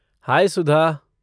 हाय सुधा!